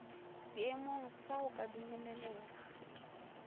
seemong sa go ka dumelelega